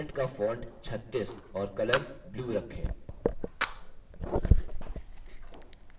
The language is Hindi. कंटेंट का font 36 और color blue रखें